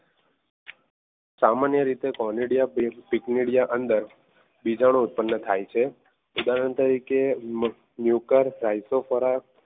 સામાન્ય રીતે કોલેડિયમ બીજાનું ઉત્પન્ન થાય છે. ઉદાહરણ તરીકે ન્યુકર ગાઈશો ખોરાક